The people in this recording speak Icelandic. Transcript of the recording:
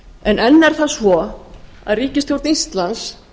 en enn er það svo að ríkisstjórn íslands